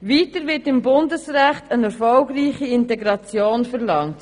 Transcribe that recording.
Weiter wird im Bundesrecht eine erfolgreiche Integration verlangt.